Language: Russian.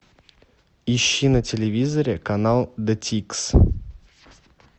ищи на телевизоре канал детикс